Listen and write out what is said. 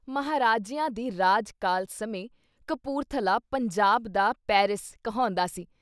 ਮਹਾਰਾਜਿਆਂ ਦੇ ਰਾਜ-ਕਾਲ ਸਮੇਂ ਕਪੂਰਥਲਾ “ਪੰਜਾਬ ਦਾ ਪੈਰਿਸ ” ਕਹਾਉਂਦਾ ਸੀ।